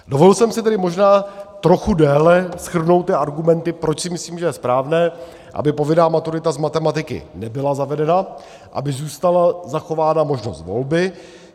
Dovolil jsem si tedy možná trochu déle shrnout ty argumenty, proč si myslím, že je správné, aby povinná maturita z matematiky nebyla zavedena, aby zůstala zachována možnost volby.